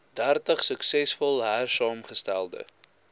dertig suksesvol hersaamgestelde